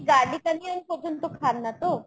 garlic onion পর্যন্ত খান না তো ?